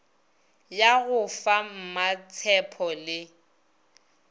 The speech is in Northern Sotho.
ya go fa mmatshepho le